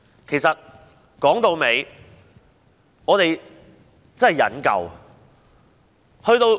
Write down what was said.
其實，我們真的忍夠了。